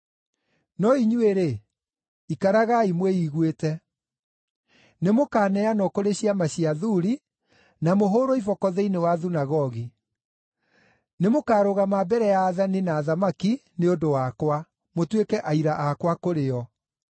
“No inyuĩ-rĩ, ikaragai mwĩiguĩte. Nĩmũkaneanwo kũrĩ ciama cia athuuri na mũhũũrwo iboko thĩinĩ wa thunagogi. Nĩmũkarũgama mbere ya aathani na athamaki nĩ ũndũ wakwa, mũtuĩke aira akwa kũrĩ o.